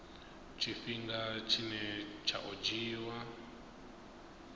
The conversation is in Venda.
tshifhinga tshine tsha o dzhiiwa